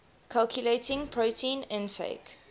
calculating protein intake